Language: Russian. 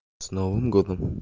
с новым годом